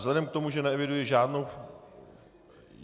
Vzhledem k tomu, že neeviduji žádnou...